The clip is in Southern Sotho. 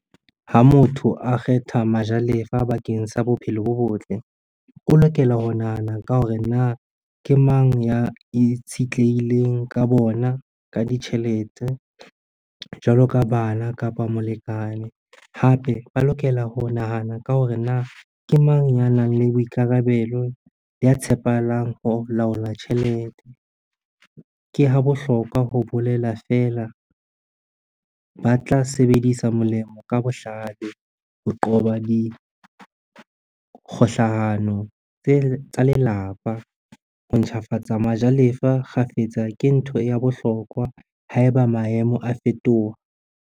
Ha motho a kgetha majalefa bakeng sa bophelo bo botle, o lokela ho nahana ka hore na ke mang ya itshitlehileng ka bona ka ditjhelete, jwalo ka bana kapa molekane. Hape ba lokela ho nahana ka hore na ke mang ya nang le boikarabelo ya tshepahalang ho laola tjhelete. Ke ha bohlokwa ho bolela feela, ba tla sebedisa molemo ka bohlale ho qoba dikgohlano tsa lelapa. Ho ntjhafatsa majalefa kgafetsa ke ntho ya bohlokwa haeba maemo a fetoha.